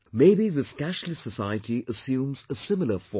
Maybe this cashless society assumes a similar form